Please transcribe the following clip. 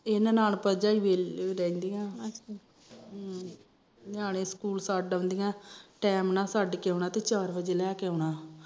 ਇਹ ਨਣਾਦ ਭਰਜਾਈ ਰਹਿੰਦੀਆਂ ਅੱਛਾ ਹਮ ਨਿਆਣੇ ਸਕੂਲ ਛੱਡ ਆਉਂਦੀਆਂ ਟੈਮ ਨਾਲ ਛੱਡ ਕੇ ਆਉਂਣਾ ਤੇ ਚਾਰ ਬਜੇ ਲੈਕੇ ਆਉਣਾ